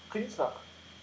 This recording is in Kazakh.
қиын сұрақ